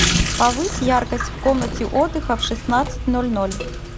повысь яркость в комнате отдыха в шестнадцать ноль ноль